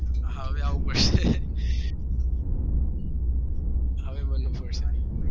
હા હવે આવવું પડશે હવે બનવું પડશે